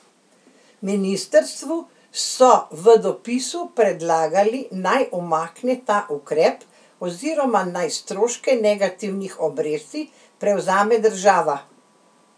Ministrstvu so v dopisu predlagali, naj umakne ta ukrep oziroma naj stroške negativnih obresti prevzame država.